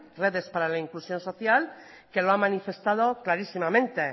redes para la inclusión social que lo ha manifestado clarísimamente